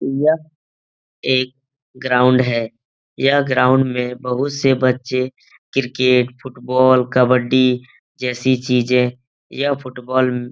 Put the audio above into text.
यह एक ग्राउंड है यह ग्राउंड में बहुत से बच्चे क्रिकेट फुटबॉल कब्बड्डी जैसी चीज़े यह फुटबॉल --